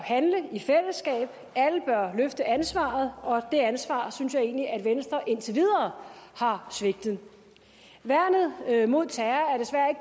handle i fællesskab alle bør løfte ansvaret og det ansvar synes jeg egentlig at venstre indtil videre har svigtet værnet mod terror